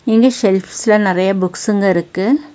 இங்க செல்ஃப்ஸ்ல நறைய புக்ஸுங்க இருக்கு.